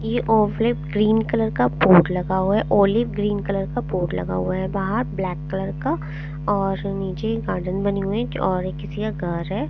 ये olive green colour का board लगा हुआ है ऑलिव ग्रीन कलर बोर्ड लगा हुआ है बाहर ब्लैक कलर और नीचे गार्डन बनी हुई है और ये किसी का घर है ।